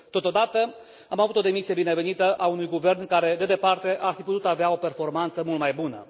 Totodată, am avut o demisie binevenită a unui guvern care, de departe, ar fi putut avea o performanță mult mai bună.